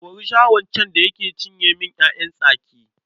Kuri Shaho can da ya cinye min ‘ya’yan tsaki.